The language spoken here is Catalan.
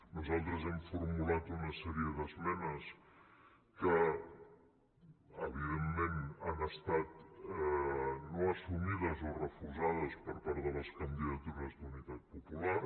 nosaltres hem formulat una sèrie d’esmenes que evidentment han estat no assumides o refusades per part de la candidatura d’unitat popular